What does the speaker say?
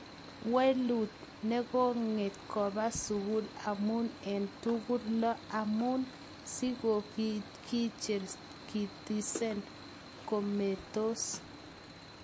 Welut negogn kopa sukul amun en tugul lo, amune si ko korikchekitesen kometos